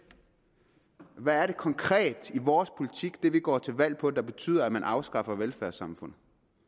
hvad er det konkret i vores politik det vi går til valg på der betyder at man afskaffer velfærdssamfundet